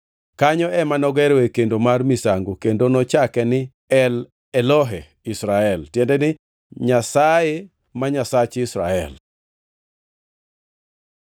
Kanyo ema nogeroe kendo mar misango kendo nochake ni El-Elohe-Israel (tiende ni Nyasaye ma Nyasach Israel).